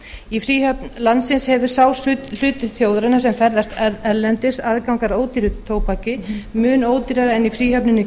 í fríhöfn landsins hefur sá hluti þjóðarinnar sem ferðast erlendis aðgang að ódýru tóbaki mun ódýrara en í fríhöfnunum í